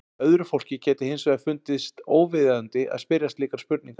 Öðru fólki gæti hins vegar fundist óviðeigandi að spyrja slíkra spurninga.